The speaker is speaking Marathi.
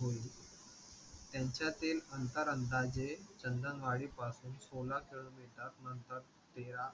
होईल, त्यांच्यातील अंतर अंदाजे चंदलवाडी पासून सोळा kilometer नंतर तेरा